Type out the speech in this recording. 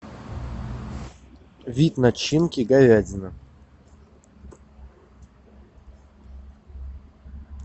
вид начинки говядина